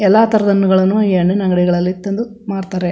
ಎಲ್ಲಾ ತರದ ಹಣ್ಣುಗಳನ್ನು ಈ ಹಣ್ಣಿನ ಅಂಗಡಿಗಳಲ್ಲಿ ತಂದು ಮಾರತ್ತರೆ.